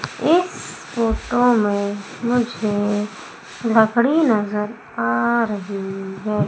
इस फोटो में मुझे लकड़ी नजर आ रही है।